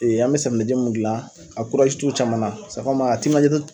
Ee an me safinɛji min gilan a kurazi t'u caman na sɛ kɔmi a timinaja te